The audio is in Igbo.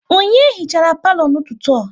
Onye hichara palo n'ụtụtụ a?